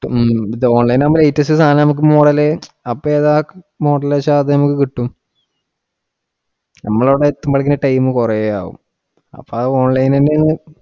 Online ഇൽ ആകുമ്പോ A to Z സാധനം നമക്ക് model അപ്പൊ ഏതാ model വെച്ചാ അത് നമുക്ക് കിട്ടും. നമ്മള് അവിടെ എത്തുമ്പോഴത്തെക്കിനു time കുറെ ആവും, അപ്പം online തന്നെയാണ്